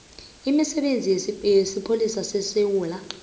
imisebenzi yesipholisa sesewula